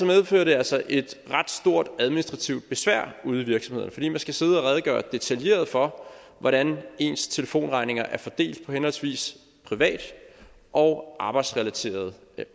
medfører det altså et ret stort administrativt besvær ude i virksomhederne fordi man skal sidde og redegøre detaljeret for hvordan ens telefonregninger er fordelt på henholdsvis private og arbejdsrelaterede